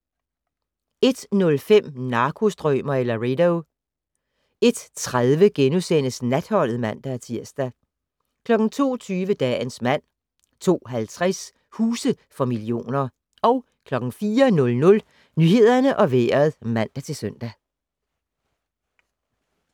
01:05: Narkostrømer i Laredo 01:30: Natholdet *(man-tir) 02:20: Dagens mand 02:50: Huse for millioner 04:00: Nyhederne og Vejret (man-søn)